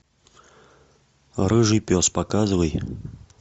рыжий пес показывай